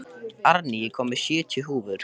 Árný, ég kom með sjötíu húfur!